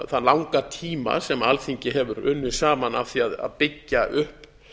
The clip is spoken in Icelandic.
þann langa tíma sem alþingi hefur unnið saman að því að byggja upp